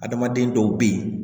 Adamaden dɔw bɛ yen